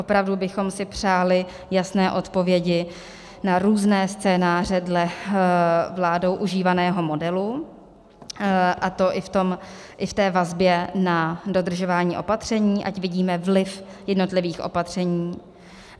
Opravdu bychom si přáli jasné odpovědi na různé scénáře dle vládou užívaného modelu, a to i v té vazbě na dodržování opatření, ať vidíme vliv jednotlivých opatření.